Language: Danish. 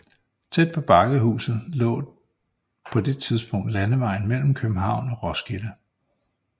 Tæt på Bakkehuset lå på det tidspunkt landevejen mellem København og Roskilde